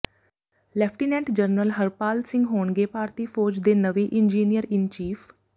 lieutenant general Harpal Singh ਹੋਣਗੇ ਭਾਰਤੀ ਫੌਜ ਦੇ ਨਵੇਂ ਇੰਜੀਨੀਅਰ ਇਨ ਚੀਫ਼